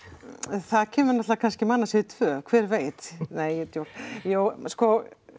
það kemur náttúrulega kannski mannasiðir tveggja hver veit nei djók jú sko